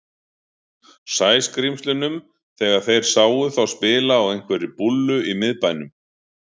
Sæskrímslunum þegar þeir sáu þá spila á einhverri búllu í miðbænum.